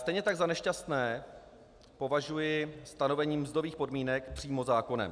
Stejně tak za nešťastné považuji stanovení mzdových podmínek přímo zákonem.